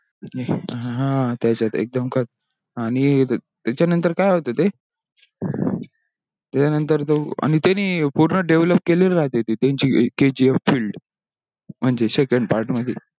हा त्यासाठी एकदम खतर आणि त्याचनंतर काय होता ते आणि त्यांनी पूर्ण develop केलेली राहते ते त्यांची kgf field म्हणजे second part मध्ये